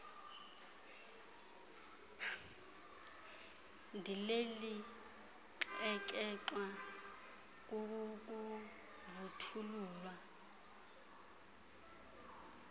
ndileli xekexwa kukuvuthululwa